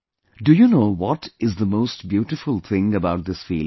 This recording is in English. Do you know what is the most beautiful thing about this feeling